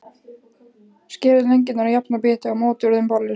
Skerið lengjurnar í jafna bita og mótið úr þeim bollur.